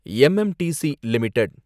MMTC limited